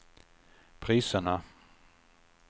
priserna